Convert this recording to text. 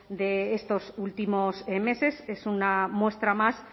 de estos últimos meses es una muestra más